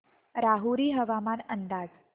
राहुरी हवामान अंदाज